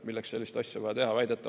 Milleks sellist asja vaja teha?